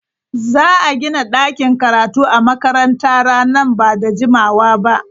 Za a gina ɗakin karatu a makarantara nan ba da jimawa ba.